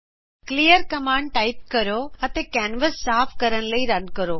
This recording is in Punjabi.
ਕਲੀਅਰ ਕਮਾਂਡ ਟਾਈਪ ਕਰੋ ਅਤੇ ਕੈਨਵਸ ਸਾਫ ਕਰਨ ਲਈ ਰਨ ਕਰੋ